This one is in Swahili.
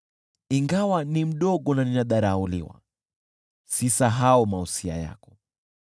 Ingawa ni mdogo na ninadharauliwa, sisahau mausia yako.